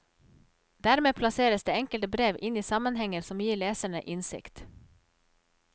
Dermed plasseres det enkelte brev inn i sammenhenger som gir leserne innsikt.